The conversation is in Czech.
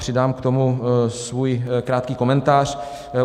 Přidám k tomu svůj krátký komentář.